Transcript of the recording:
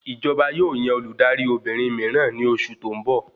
Ìjọba yóò yan Olùdarí Obìnrin míràn ní oṣù tó n bọ